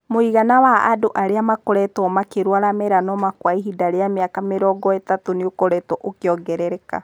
Mũigana wa andũ arĩa makoretwo makĩrũara melanoma kwa ihinda rĩa mĩaka mĩrongo ĩthatu nĩ ũkoretwo ũkĩongerereka.